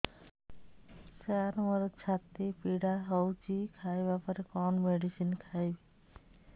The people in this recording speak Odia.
ସାର ମୋର ଛାତି ପୀଡା ହଉଚି ଖାଇବା ପରେ କଣ ମେଡିସିନ ଖାଇବି